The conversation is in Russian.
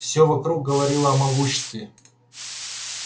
все вокруг говорило о могуществе